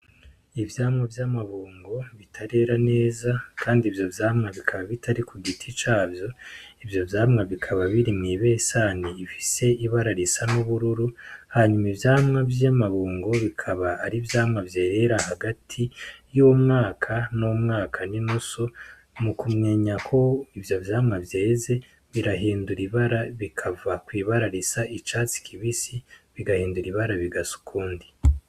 Ivyamwa vy'amabungo bitarera neza, kandi ivyo vyamwa bikaba bitari ku giti cavyo ivyo vyamwa bikaba biri mw'ibesani ifise ibararisa n'ubururu hanyuma ivyamwa vy'amabungo bikaba ari vyamwa vyerera hagati y'umwaka n'umwaka n'inusu nu kumwenya ko ivyo vyamwa vyeze birahindura ibara bikava kw'ibararaisa icatsi kibisi bigahindura ibara bigasa ukundi.